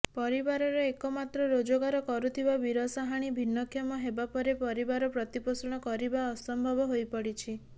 ପରିବାରର ଏକମାତ୍ର ରୋଜଗାର କରୁଥବା ବିରସାହାଣି ଭିନ୍ନକ୍ଷମ ହେବାପରେ ପରିବାର ପ୍ରତିପୋଷଣ କରିବା ଅସମ୍ଭବ ହୋଇପଡିଛି